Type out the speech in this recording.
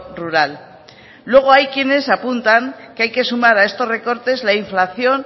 rural luego hay quienes apuntan que hay que sumar a estos recortes la inflación